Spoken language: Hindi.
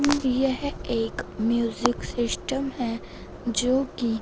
यह एक म्यूजिक सिस्टम है जो की--